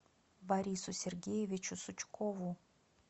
борису сергеевичу сучкову